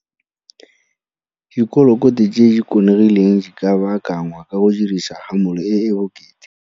Dikolokote tse di konegileng di ka baakangwa ka go dirisa hamole e e bokete.